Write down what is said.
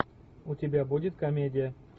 у тебя будет комедия